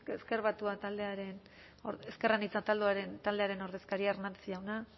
ezker anitza taldearen ordezkaria hernández jauna